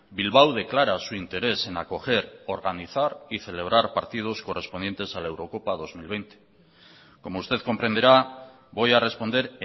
bilbao declara su interés en acoger organizar y celebrar partidos correspondientes a la eurocopa dos mil veinte como usted comprenderá voy a responder